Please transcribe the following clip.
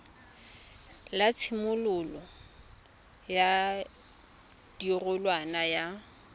la tshimololo ya karolwana ya